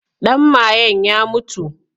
Ɗan mayen ya mutu.